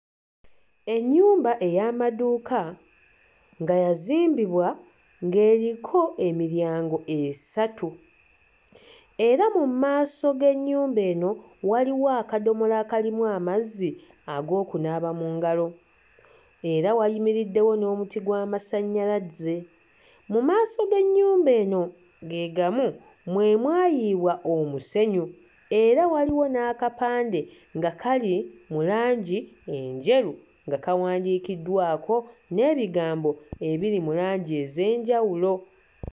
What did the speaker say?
Ennyumba ey'amaduuka nga yazimbibwa ng'eriko emiryango esatu era mu maaso g'ennyumba eno waliwo akadomola akalimu amazzi ag'okunaaba mu ngalo, era wayimiriddewo n'omuti gw'amasannyalaze. Mu maaso g'ennyumba eno ge gamu mwe mwayiibwa omusennyu era waliwo n'akapande nga kali mu langi enjeru nga kawandiikiddwako n'ebigambo ebiri mu langi ez'enjawulo.